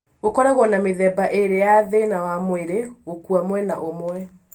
Gũkoragwo na mĩthemba ĩrĩ ya thĩna wa mwĩrĩ gũkua mwena ũmwe